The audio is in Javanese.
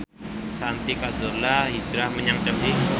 Santi Carzola hijrah menyang Chelsea